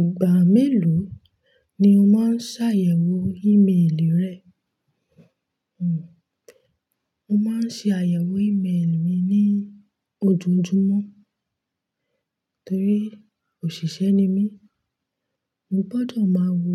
Ìgbà mélòó ni o máa ń ṣàyẹ̀wò ímélì rẹ? Mo máa ń ṣe àyẹ̀wò ímélì mi ní ojoojúmọ́, torí òṣìṣẹ́ ni mí. Mo gbọdọ̀ máa wo